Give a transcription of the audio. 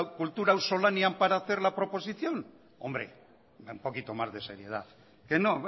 kultura auzolanean para hacer la proposición hombre un poquito más de seriedad que no